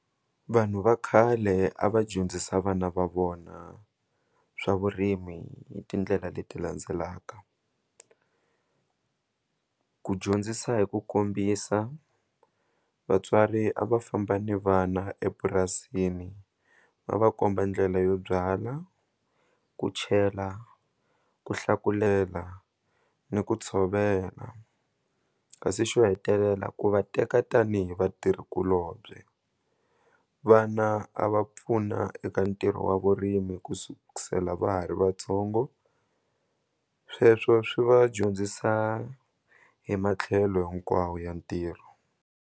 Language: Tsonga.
Vanhu va khale a va dyondzisa vana va vona swa vurimi hi tindlela leti landzelaka ku dyondzisa hi ku kombisa vatswari a va famba ni vana epurasini va va komba ndlela yo byala ku chela ku hlakulela ni ku tshovela kasi xo hetelela ku va teka tanihi vatirhi kulobye vana a va pfuna eka ntirho wa vurimi ku sukusela va ha ri vatsongo sweswo swi va dyondzisa hi matlhelo hinkwawo ya ntirho.